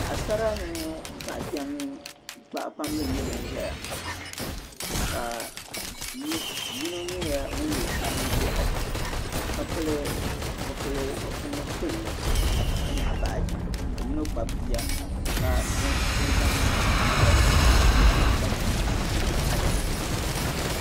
Paɣisara mini paɣikpamba n-nyɛ ban ʒia ka yino nyɛla ŋun ye sutur' ʒiɛɣu ka pili zupil' kpulli ka nyaɣi baaji ka yino zaŋ chinchini piɛlli n-kpabi bia ka ʒi adiiku.